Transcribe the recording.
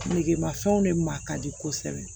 Negemafɛnw de ma ka di kosɛbɛ